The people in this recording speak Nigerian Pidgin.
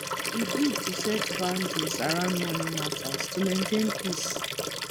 e good to set boundaries around money matters to maintain peace